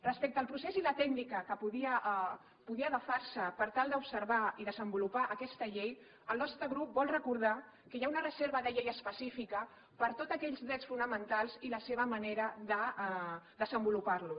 respecte al procés i la tècnica que podia agafar se per tal d’observar i desenvolupar aquesta llei el nostre grup vol recordar que hi ha una reserva de llei específica per a tots aquells drets fonamentals i la seva manera de desenvolupar los